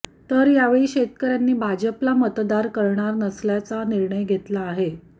तर यावेळी शेतकऱ्यांनी भाजपला मतदार करणार नसल्याचा निर्णय घेतला आहे